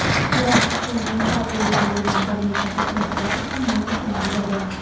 biroq shaxsiy manfaat yo‘lida yurgan bir necha buzg‘unchilar hamma narsani buzadi.